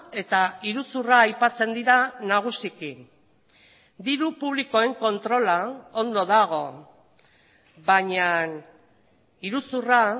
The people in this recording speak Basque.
eta iruzurra aipatzen dira nagusiki diru publikoen kontrola ondo dago baina iruzurra